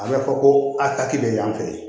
A bɛ fɔ ko a taki bɛ y'an fɛ yen